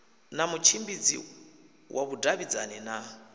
na mutshimbidzi wa vhudavhidzani na